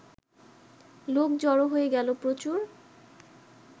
লোক জড়ো হয়ে গেল প্রচুর